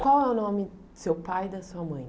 Qual é o nome do seu pai e da sua mãe?